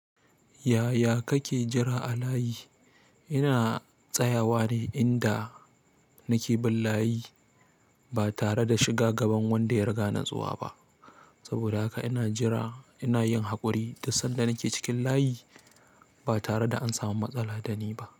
Yaya kake jira a layi? Ina tsayawa ne inda nake bin layi ba tare da shiga gaban wanda ya riga ni zuwa ba. Saboda haka ina jira ina yin haƙuri du sanda nake cikin layi ba tare da an samu matsala da ni ba.